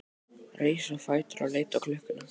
Reis á fætur og leit á klukkuna.